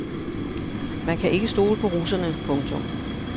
Man kan ikke stole på russerne. punktum